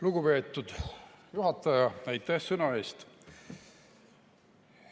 Lugupeetud juhataja, aitäh sõna eest!